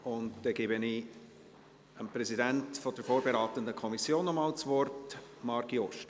Ich gebe dem Präsidenten der vorberatenden Kommission noch einmal das Wort: Marc Jost.